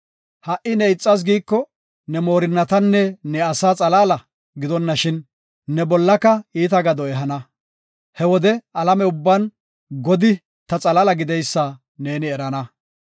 Ha77i ne ixas giiko, ne moorinnatanne ne asaa xalaala gidonashin ne bollaka iita gado ehana. He wode alame ubban Godi ta xalaala gideysa neeni erana.